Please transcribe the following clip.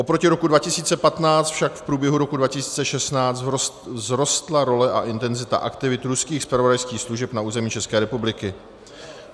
Oproti roku 2015 však v průběhu roku 2016 vzrostla role a intenzita aktivit ruských zpravodajských služeb na území České republiky.